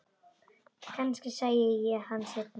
Kannski sæi ég hann seinna.